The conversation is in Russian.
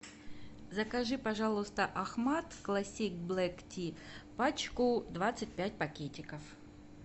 закажи пожалуйста ахмад классик блэк ти пачку двадцать пять пакетиков